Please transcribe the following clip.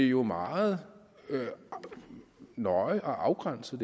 jo meget nøje og afgrænset